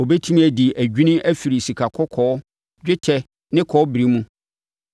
Ɔbɛtumi adi adwini afiri sikakɔkɔɔ, dwetɛ, ne kɔbere mu.